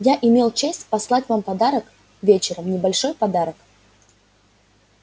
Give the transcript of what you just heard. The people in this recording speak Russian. я имел честь послать вам вчера вечером небольшой подарок